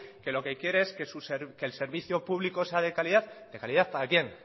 que lo que quiere es que el servicio público sea de calidad de calidad para quién